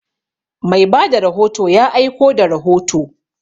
Mai ba da rahoto ya aiko da rahoto.